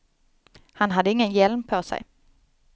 Han hade ingen hjälm på sig.